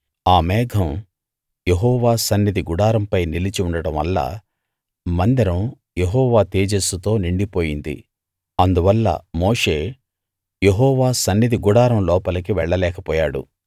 ఆ మేఘం యెహోవా సన్నిధి గుడారంపై నిలిచి ఉండడం వల్ల మందిరం యెహోవా తేజస్సుతో నిండిపోయింది అందువల్ల మోషే యెహోవా సన్నిధి గుడారం లోపలి వెళ్ళలేక పోయాడు